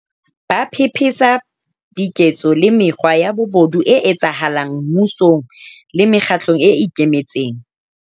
Ba pe pesa diketso le mekgwa ya bobodu e etsahala ng mmusong le mekgatlong e ikemetseng.